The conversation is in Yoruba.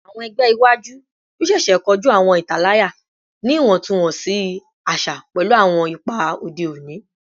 Awọn ẹgbẹ iwaju yoo ṣeese koju awọn italaya ni iwọntunwọnsi aṣa pẹlu awọn ipa ode oni